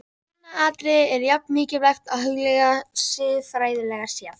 Annað atriði er jafn mikilvægt að hugleiða, siðfræðilega séð.